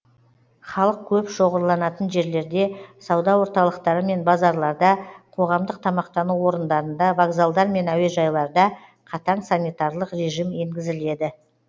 халық көп шоғырланатын жерлерде сауда орталықтары мен базарларда қоғамдық тамақтану орындарында вокзалдар мен әуежайларда қатаң санитарлық режим енгізіледі